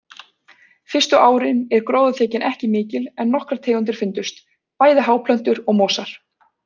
Fyrstu árin er gróðurþekjan ekki mikil en nokkrar tegundir fundust, bæði háplöntur og mosar.